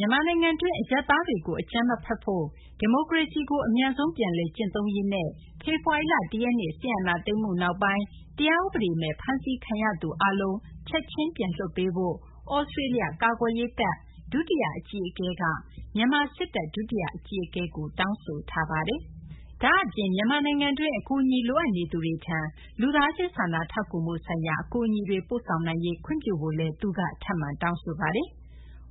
မြန်မာနိုင်ငံတွင်း အရပ်သားတွေကို အကြမ်းမဖက်ဖို့၊ ဒီမိုကရေစီကို အမြန်ဆုံး ပြန်လည် ကျင့်သုံးရေးနဲ့ ဖေဖော်ဝါရီလ ၁ ရက်နေ့ စစ်အာဏာသိမ်းမှု နောက်ပိုင်း တရားဥပဒေမဲ့ ဖမ်းဆီးခံထားရသူ အားလုံးကို ချက်ချင်း ပြန်လွှတ်ပေးဖို့ သြစတေးလျ ကာကွယ်ရေးတပ် ဒုတိယ အကြီးအကဲက မြန်မာ စစ်တပ် ဒုတိယ အကြီးအကဲကို တောင်းဆိုလိုက်ပါတယ်။ ဒါ့အပြင် မြန်မာနိုင်ငံတွင်းက အကူအညီ လိုအပ်နေသူတွေထံ လူသားချင်း စာနာထောက်ကူမှု ဆိုင်ရာ အကူအညီတွေ ပို့ဆောင်နိုင်ရေး ခွင့်ပြုဖို့လည်း သြစတေးလျ ကာကွယ်ရေး တပ်ဖွဲ့ ဒုတိယ အကြီးအကဲက ထပ်မံ တောင်းဆိုပါတယ်။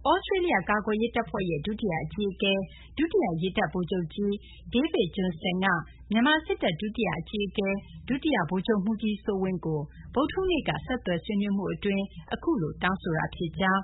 သြစတေးလျ ကာကွယ်ရေး တပ်ဖွဲ့ရဲ့ ဒုတိယ အကြီးအကဲ ဒုတိယ ရေတပ်ဗိုလ်ချုပ်ကြီး David Johnston က မြန်မာ စစ်တပ် ဒုတိယ အကြီးအကဲ ဒုတိယ ဗိုလ်ချုပ်မှူးကြီး စိုးဝင်းကို ဗုဒ္ဓဟူးနေ့က ဆက်သွယ်ဆွေးနွေးမှု အတွင်းမှာ အခုလို တောင်းဆိုခဲ့တာ ဖြစ်ကြောင်း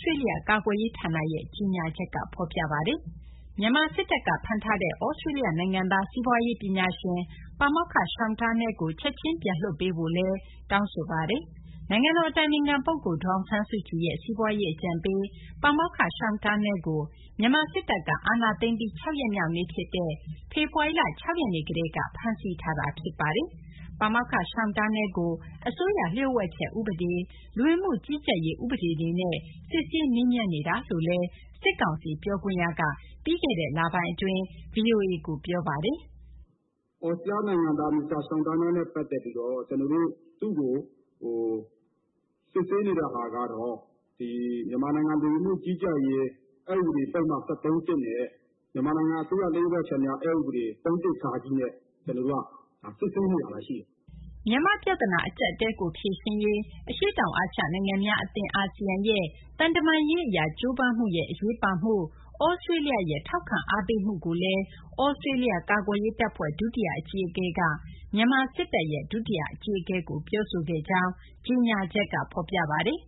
သြစတေးလျ ကာကွယ်ရေး ဌာနရဲ့ ကြေညာချက်မှာ ဖော်ပြပါတယ်။ မြန်မာ စစ်တပ်က ဖမ်းထားတဲ့ သြစတေးလျ နိုင်ငံသား စီးပွားရေး ပညာရှင် ပါမောက္ခ Sean Turnell ကို ချက်ချင်း ပြန်လွှတ်ပေးဖို့ သြစတေးလျ ကာကွယ်ရေး တပ်ဖွဲ့ ဒုတိယ အကြီးအကဲက တောင်းဆိုထားပါတယ်။ နိုင်ငံတော် အတိုင်ပင်ခံ ပုဂ္ဂိုလ် ဒေါ်အောင်ဆန်းစုကြည်ရဲ့ စီးပွားရေး အကြံပေး ပါမောက္ခ Sean Turnell ကို မြန်မာ စစ်တပ်က အာဏာသိမ်းပြီး ၆ ရက်မြောက်နေ့ ဖြစ်တဲ့ ဖေဖော်ဝါရီလ ၆ ရက်နေ့ကတည်းက ဖမ်းဆီး ထိန်းသိမ်းထားတာ ဖြစ်ပါတယ်။ ပါမောက္ခ Sean Turnell ကို အစိုးရ လျို့ဝှက်ချက် ဥပဒေ၊ လူဝင်မှု ကြီးကြပ်ရေး ဥပဒေတွေနဲ့ စစ်ဆေးမေးမြန်းနေကြောင်း စစ်ကောင်စီ ပြောခွင့်ရက VOA ကို ပြောဆိုထားတာပါ။ " သြစတြေးလျနိုင်ငံသား Mr. Sean Turnell နဲ့ ပတ်သက်ပြီးတော့ သူ့ကို စစ်ဆေးနေတဲ့ဟာကတော့ မြန်မာနိုင်ငံလူဝန်မှုကြီးကြပ်ရေး အက် ဥပဒေပုဒ်မ ၁၃ (၁) နဲ့ မြန်မာနိုင်ငံအစိုးရ လျှို့ဝှက်ချက်များ အက် ဥပဒေ ၃/၁ ဃ နဲ့ ကျနော်တို့ စစ်ဆေးနေတာ ရှိပါတယ်။" မြန်မာ့ ပြဿနာ အကြပ်အတည်းကို ဖြေရှင်းရေး အရှေ့တောင် အာရှ နိုင်ငံများ အသင်း ASEAN ရဲ့ သံတမန်ရေး အရ ကြိုးပမ်းမှုရဲ့ အရေးပါမှုနဲ့ သြစတေးလျရဲ့ ထောက်ခံအားပေးမှုကိုလည်း သြစတေးလျ ကာကွယ်ရေး တပ်ဖွဲ့ ဒုတိယ အကြီးအကဲက မြန်မာ စစ်တပ် ဒုတိယ အကြီးအကဲကို ပြောဆိုခဲ့ကြောင်း ကြေညာချက်က ဖော်ပြပါတယ်